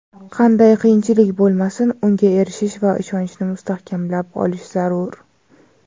qanday qiyinchilik bo‘lmasin unga erishish va ishonchni mustahkamlab olish zarur.